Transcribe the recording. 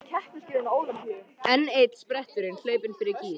Enn einn spretturinn hlaupinn fyrir gíg.